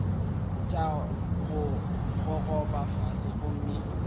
tša go gogoba fase gomme